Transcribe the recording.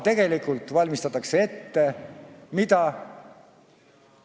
Tegelikult aga valmistatakse ette mida?